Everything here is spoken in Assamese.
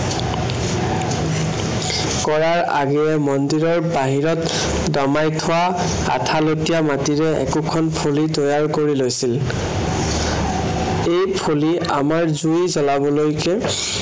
কৰাৰ আগেয়ে মন্দিৰৰ বাহিৰত দমাই থোৱা আঠালেটীয়া মাটিৰে একোখন ফলি তৈয়াৰ কৰি লৈছিল। এই ফলি আমাৰ জুই জ্বলাবলৈকে